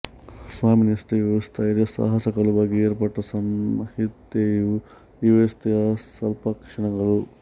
ಸ್ವಾಮಿನಿಷ್ಠೆಯೂ ಸ್ಥೈರ್ಯ ಸಾಹಸಗಳ ಬಗ್ಗೆ ಏರ್ಪಟ್ಟ ಸಂಹಿತೆಯೂ ಈ ವ್ಯವಸ್ಥೆಯ ಸಲ್ಲಕ್ಷಣಗಳು